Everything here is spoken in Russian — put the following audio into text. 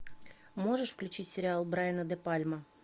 можешь включить сериал брайана де пальма